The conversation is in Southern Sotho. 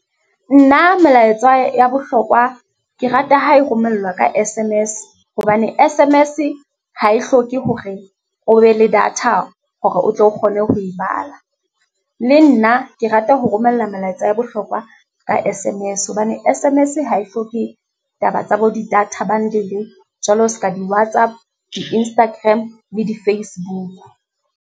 Nna melaetsa ya bohlokwa ke rata ha e romelwa ka S_M_S, hobane S_M_S ha e hloke hore o be le data hore o tlo o kgone ho e bala. Le nna ke rata ho romella melaetsa ya bohlokwa ka S_M_S, hobane S_M_S ha e hloke, taba tsa bo di-data bundle jwalo seka di-WhatsApp, di-Instagram le di-Facebook.